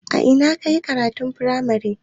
A ina ka yi makarantar firamare?